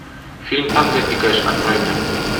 фильм танго и кэш открой мне